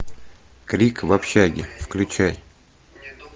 крик в общаге включай